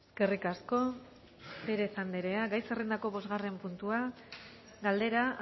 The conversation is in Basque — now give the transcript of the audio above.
eskerrik asko pérez andrea gai zerrendako bosgarren puntua galdera